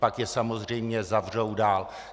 Pak je samozřejmě zavřou dál.